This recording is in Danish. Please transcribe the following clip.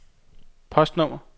postnummer